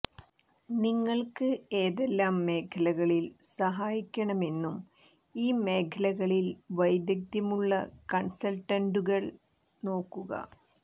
നിങ്ങൾക്ക് ഏതെല്ലാം മേഖലകളിൽ സഹായിക്കണമെന്നും ഈ മേഖലകളിൽ വൈദഗ്ധ്യമുള്ള കൺസൾട്ടന്റുകൾ നോക്കുക